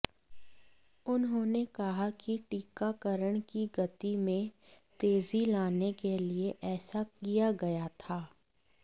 उन्होंने कहा कि टीकाकरण की गति में तेजी लाने के लिए ऐसा किया गया था